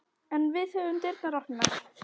En við höfum dyrnar opnar